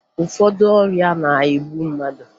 Ụfọdụ ọrịa na-egbu mmadụ